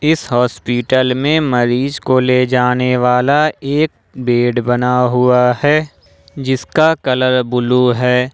इस हॉस्पिटल में मरीज को ले जाने वाला एक बेड बना हुआ है जिसका कलर ब्लू है ।